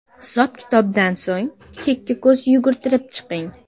Hisob-kitobdan so‘ng, chekka ko‘z yugurtirib chiqing.